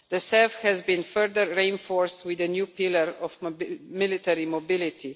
the CEF has been further reinforced with a new pillar of military mobility.